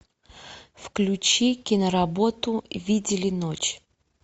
включи киноработу видели ночь